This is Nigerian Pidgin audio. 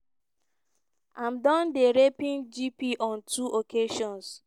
im don dey raping gp on two occasions.